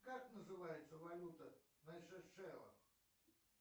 как называется валюта на сейшеллах